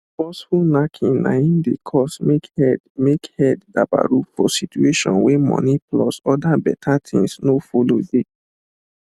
forceful knacking na im de cause make head make head dabarufor situation wey money plus other beta things no folo de